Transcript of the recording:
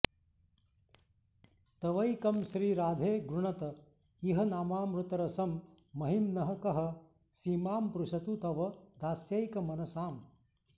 तवैकं श्रीराधे गृणत इह नामामृतरसं महिम्नः कः सीमां स्पृशतु तव दास्यैकमनसाम्